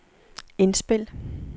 indspil